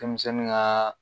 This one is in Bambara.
Denmisɛnnin ŋaa